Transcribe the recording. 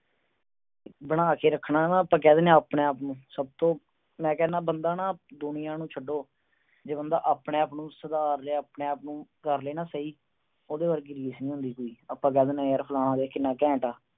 ਬਣਾ ਕੇ ਰੱਖਣਾ, ਆਪਾ ਕਹਿ ਦਿਨੇ ਆ ਆਪਣੇ-ਆਪ ਨੂੰ। ਮੈਂ ਕਹਿਣਾ ਦੁਨੀਆ ਨੂੰ ਛੱਡੋ, ਜੇ ਬੰਦਾ ਆਪਣੇ-ਆਪ ਨੂੰ ਸੁਧਾਰ ਲੇ, ਆਪਣੇ-ਆਪ ਨੂੰ ਕਰ ਲਏ ਨਾ ਸਹੀ, ਤਾਂ ਉਹਦੇ ਵਰਗੀ ਰੀਸ ਨੀ ਕੋਈ। ਆਪਾ ਕਹਿ ਦਿਨੇ ਆ ਫਲਾਣਾ ਕਿੰਨਾ ਘੈਂਟ ਆ।